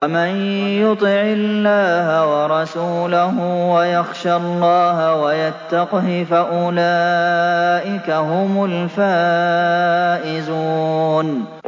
وَمَن يُطِعِ اللَّهَ وَرَسُولَهُ وَيَخْشَ اللَّهَ وَيَتَّقْهِ فَأُولَٰئِكَ هُمُ الْفَائِزُونَ